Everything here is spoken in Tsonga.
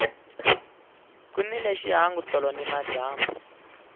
ku nile xihangu tolo nimadyambu